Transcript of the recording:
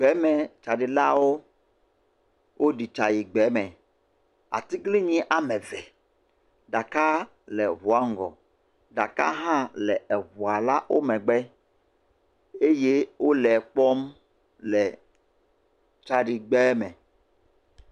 Gbemetsaɖilawo, woɖi tsa yi gbeme. Atiglinyi ame ve. Ɖakaa le ŋua ŋgɔ, ɖaka hã le eŋua wo megbe eye wole kpɔm le tsaɖigbeme.